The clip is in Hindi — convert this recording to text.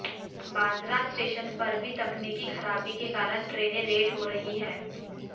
ब्रांद्रा स्टेशन पर भी तकनीकी खराबी के कारण ट्रेनें लेट हो रहीं हैं